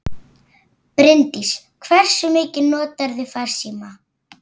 Bryndís: Hversu mikið notarðu farsíma?